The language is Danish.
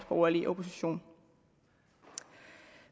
borgerlige opposition